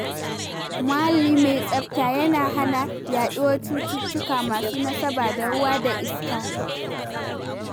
Muhalli mai tsafta yana hana yaɗuwar cututtuka masu nasaba da ruwa da iska.